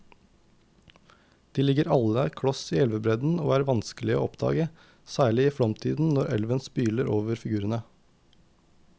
De ligger alle kloss i elvebredden og er vanskelige å oppdage, særlig i flomtiden når elven spyler over figurene.